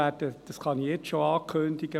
Ich kann jetzt schon ankündigen: